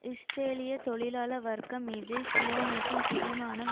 இஸ்ரேலிய தொழிலாள வர்க்கம் மீது சியோனிசம் பிடிமானம்